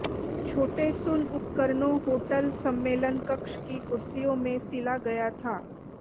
छोटे सुन उपकरणों होटल सम्मेलन कक्ष की कुर्सियों में सिला गया था